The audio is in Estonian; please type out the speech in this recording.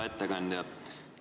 Hea ettekandja!